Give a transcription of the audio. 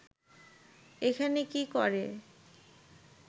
এখানে কি করে